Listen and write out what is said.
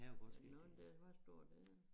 Der er nogen der var store neden